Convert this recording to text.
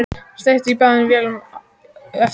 Steypt í báðum vélum eftir hádegi.